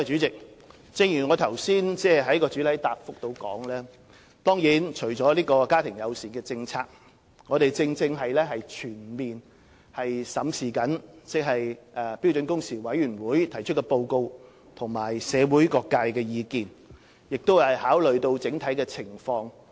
正如我在主體答覆中所說，除了家庭友善僱傭政策之外，我們亦正在全面審視標時委員會提出的報告及社會各界的意見，並考慮整體情況。